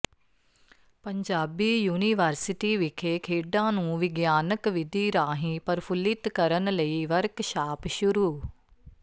Punjabi university ਵਿਖੇ ਖੇਡਾਂ ਨੂੰ ਵਿਗਿਆਨਕ ਵਿਧੀ ਰਾਹੀਂ ਪ੍ਰਫੁਲਿਤ ਕਰਨ ਲਈ ਵਰਕਸ਼ਾਪ ਸ਼ੁਰੂ